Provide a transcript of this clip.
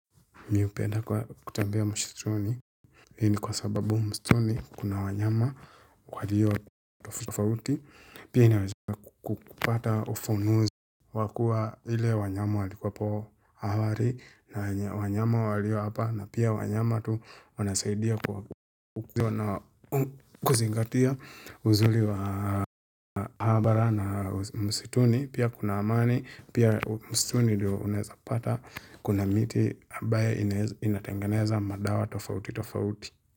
Mi hupenda kwa kutembea msituni Hii ni kwa sababu msituni kuna wanyama waliyo tofauti Pia inaweza kukupata ufunuzi wakua ile wanyama walikuwapo awali na wanyama walio hapa na pia wanyama tu wanasaidia kwa Kuziwa na kuzingatia uzuli wa habari na mshituni Pia kuna amani Pia msituni diyo unaezapata Kuna miti ambayae inatengeneza madawa tofauti tofauti.